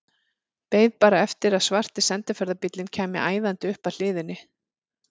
Beið bara eftir að svarti sendiferðabíllinn kæmi æðandi upp að hliðinni.